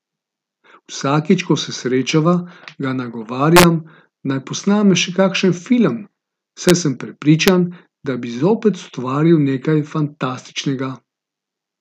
Vsakič ko se srečava, ga nagovarjam, naj posname še kakšen film, saj sem prepričan, da bi zopet ustvaril nekaj fantastičnega.